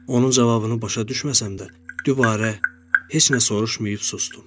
Onun cavabını başa düşməsəm də, dübarə heç nə soruşmayıb susdum.